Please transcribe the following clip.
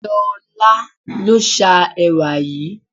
Ṣolá ló sá ẹwà yìí.